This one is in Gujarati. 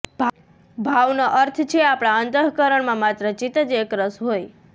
ભાવનો અર્થ છે આપણા અંતઃકરણમાં માત્ર ચિત્ત જ એકરસ હોય